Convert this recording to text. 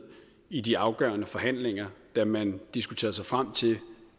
i de afgørende forhandlinger da man diskuterede sig frem til